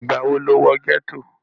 ìgbà wo ló wọ gẹ́tò?